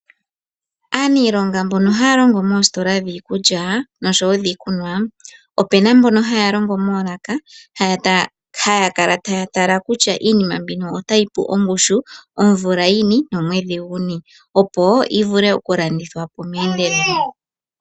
Aaniilonga mbono haya longo moositola dhiikulya oshowo dhiikunwa, opena mbono haya longo moolaka haya kala taya tala kutya iinima mbino otayi pu ongushu omvula yini nomwedhi guni opo yi vule oku landithwa po .